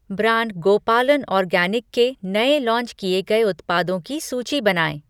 Brand Gopalan organic के नए launch किए गए उत्पादों की सूची बनाएँ?